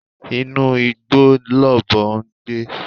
Inú igbó lọ̀bọ ń gbé